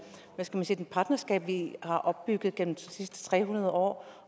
sige det partnerskab vi har opbygget gennem de sidste tre hundrede år